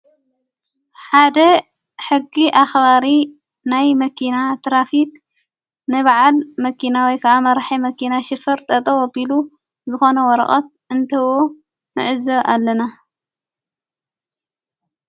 ሓደ ሕጊ ኣኽባሪ ናይ መኪና ትራፊቅ ነብዓድ መኪናወይ ከዓማ ርሒ መኪና ሽፍር ጠጠ ወቢሉ ዝኾነ ወረቐት እንተዎ ምዕዘ ኣለና።